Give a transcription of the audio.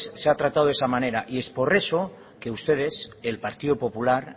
se ha tratado de esa manera y es por eso que ustedes el partido popular